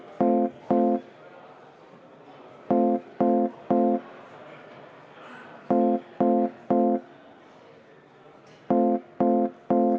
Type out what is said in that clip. Meie tänane pikk tööpäev on läbi.